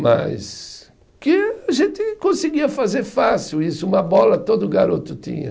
Mas que a gente conseguia fazer fácil isso, uma bola todo garoto tinha.